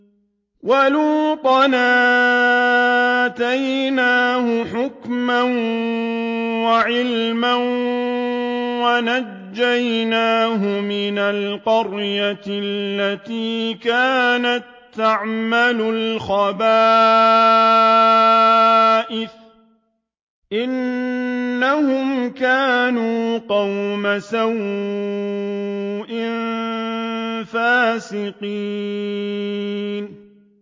وَلُوطًا آتَيْنَاهُ حُكْمًا وَعِلْمًا وَنَجَّيْنَاهُ مِنَ الْقَرْيَةِ الَّتِي كَانَت تَّعْمَلُ الْخَبَائِثَ ۗ إِنَّهُمْ كَانُوا قَوْمَ سَوْءٍ فَاسِقِينَ